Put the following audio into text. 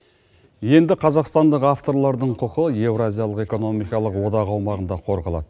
енді қазақстандық авторлардың құқы еуразиялық экономикалық одақ аумағында қорғалады